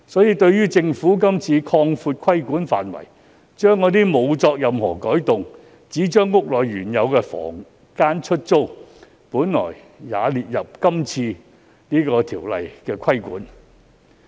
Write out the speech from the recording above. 然而，政府今次卻擴闊規管範圍，把原本沒有作任何改動而只是將原有房間出租的行為也納入《條例草案》的規管。